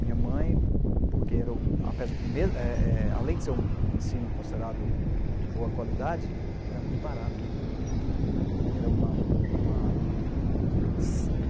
Minha mãe, porque, era o apesar, eh eh, além de ser um ensino considerado de boa qualidade, era muito barato. Era uma, uma